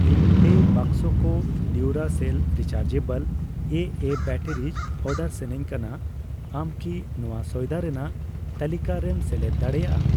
ᱤᱧ ᱯᱮ ᱵᱟᱠᱥᱚ ᱠᱚ Duracell rechargeable AA batteries order ᱥᱟᱱᱟᱧ ᱠᱟᱱᱟ, ᱟᱢ ᱠᱤ ᱱᱚᱣᱟ ᱥᱚᱭᱫᱟ ᱨᱮᱱᱟᱜ ᱛᱟᱹᱞᱤᱠᱟ ᱨᱮᱢ ᱥᱮᱞᱮᱫ ᱫᱟᱲᱮᱭᱟᱜᱼᱟ ?